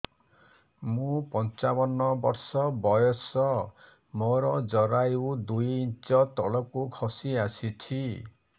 ମୁଁ ପଞ୍ଚାବନ ବର୍ଷ ବୟସ ମୋର ଜରାୟୁ ଦୁଇ ଇଞ୍ଚ ତଳକୁ ଖସି ଆସିଛି